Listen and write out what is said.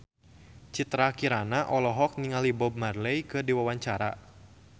Citra Kirana olohok ningali Bob Marley keur diwawancara